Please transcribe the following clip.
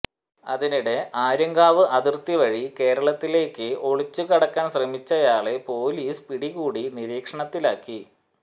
അതിനിടെ ആര്യങ്കാവ് അതിർത്തി വഴി കേരളത്തിലേക്ക് ഒളിച്ചു കടക്കാൻ ശ്രമിച്ചയാളെ പൊലീസ് പിടികൂടി നിരീക്ഷണത്തിലാക്കി